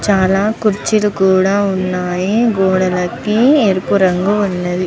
చాలా కుర్చీలు కూడా ఉన్నాయి గోడలకి ఎరుపు రంగు ఉన్నవి.